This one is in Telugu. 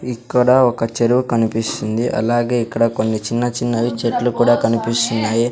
ఇక్కడ ఒక చెరువు కనిపిస్తుంది అలాగే ఇక్కడ కొన్ని చిన్న చిన్న వి చెట్లు కూడా కనిపిస్తున్నాయి.